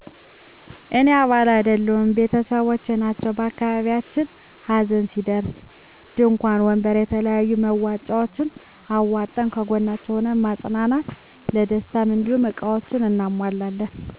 እኔ አባል አይደለሁም ቤተሰቦቸ ናቸዉ በአካባቢያችን ሀዘን ሲደርስ እንድንኳን ወንበር የተለያዩ መዋጫዎችን አዋጠን ከጎናቸዉ ሁነን ማፀናናት ለደስታም እንዲሁ እቃዎችን አናሟላለን